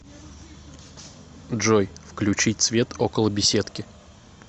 джой включить свет около беседки